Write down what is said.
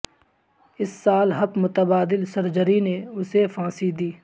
اس سال ہپ متبادل سرجری نے اسے پھانسی دی